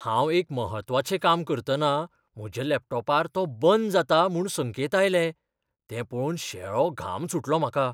हांव एक म्हत्वाचें काम करतना म्हज्या लॅपटॉपार तो बंद जाता म्हूण संकेत आयले, तें पळोवन शेळो घाम सुटलो म्हाका.